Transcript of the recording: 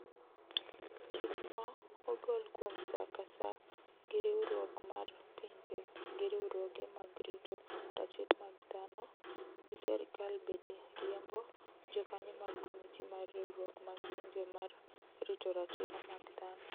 Chich mo ogol kuom saa ka saa gi riwriuok mar pinje gi riwruoge mag rito ratiro mag dhano gi serikal bede riembo jokanyo mag komiti mar riwruok mag pinje mar rito ratiro mag dhano